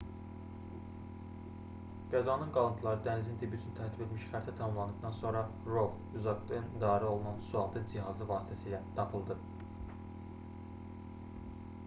qəzanın qalıntıları dənizin dibi üçün tərtib edilmiş xəritə tamamlandıqdan sonra rov uzaqdan idarəolunan sualtı cihazı vasitəsilə tapıldı